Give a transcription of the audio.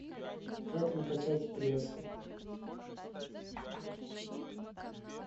как накачать пресс